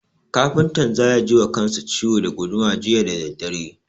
Kafintan za ya ji wa kansa ciwo da guduma jiya da daddare.